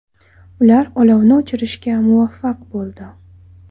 Ular olovni o‘chirishga muvaffaq bo‘ldi.